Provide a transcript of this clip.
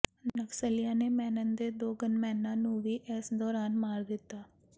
ਨਕਸਲੀਆਂ ਨੇ ਮੈਨਨ ਦੇ ਦੋ ਗੰਨਮੈਨਾਂ ਨੂੰ ਵੀ ਇਸ ਦੌਰਾਨ ਮਾਰ ਦਿੱਤਾ